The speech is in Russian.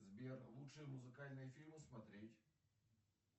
сбер лучшие музыкальные фильмы смотреть